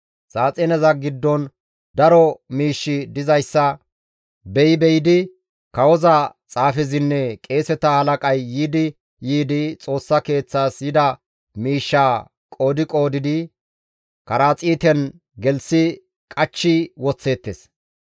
Saaxineza giddon daro miishshi dizayssa beyi be7idi kawoza xaafezinne qeeseta halaqay yiidi yiidi Xoossa Keeththas yida miishshaa qoodi qoodidi karaxiiten gelththi qachchi woththeettes.